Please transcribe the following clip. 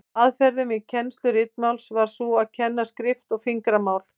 Aðferðin við kennslu ritmálsins var sú að kenna skrift og fingramál.